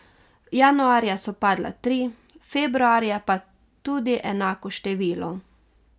Januarja so padla tri, februarja pa tudi enako število.